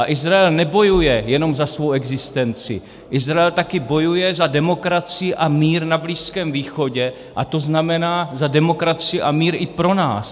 A Izrael nebojuje jenom za svou existenci, Izrael taky bojuje za demokracii a mír na Blízkém východě - a to znamená za demokracii a mír i pro nás.